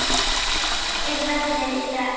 , hvernig er veðrið í dag?